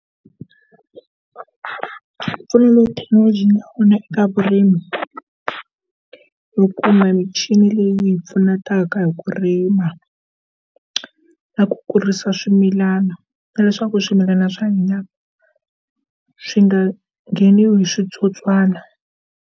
Mimpfuno leyi thekinoloji yi nga na yona eka vurimi, hi kuma michini leyi hi pfunetaka hi ku rima na ku kurisa swimilana na leswaku swimilana swa hina swi nga ngheniwi hi switsotswana.